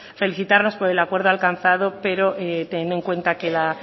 felicitarnos por el acuerdo alcanzado pero teniendo en cuenta que la